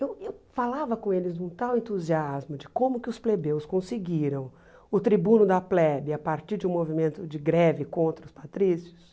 Eu eu falava com eles num tal entusiasmo de como que os plebeus conseguiram o tribuno da plebe a partir de um movimento de greve contra os patrícios.